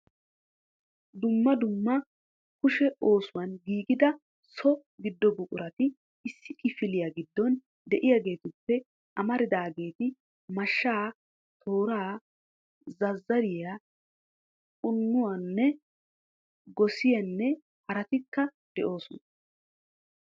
Dumma dumma kishe oosuwaan giigida so giddo buqurati issi kifiliya giddon de'iyaageetuppe amaridaageeti mashshaa, tooraa, zazzariyaa, qunuuna, gossiyanne haratikka de'osoona.